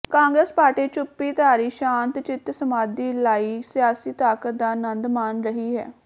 Congress party ਚੁੱਪੀ ਧਾਰੀ ਸ਼ਾਂਤ ਚਿਤ ਸਮਾਧੀ ਲਾਈ ਸਿਆਸੀ ਤਾਕਤ ਦਾ ਆਨੰਦ ਮਾਣ ਰਹੀ ਹੈ